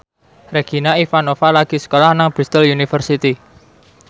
Regina Ivanova lagi sekolah nang Bristol university